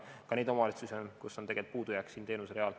On ka neid omavalitsusi, kus on puudujääk siin teenusereal.